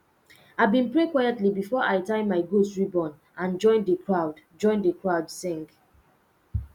i been pray quietly before i tie my goat ribbon and join the crowd join the crowd sing